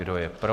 Kdo je pro?